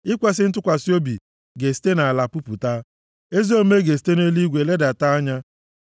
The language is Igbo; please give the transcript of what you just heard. Ikwesi ntụkwasị obi ga-esite nʼala pupụta, ezi omume ga-esite nʼeluigwe ledata anya.